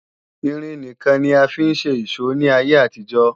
Irin nìkan ni a fi ń ṣe ìṣó ní ayé àtijó